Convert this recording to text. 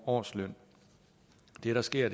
årsløn det der sker